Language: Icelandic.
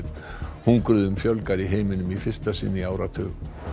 hungruðum fjölgar í heiminum í fyrsta sinn í áratug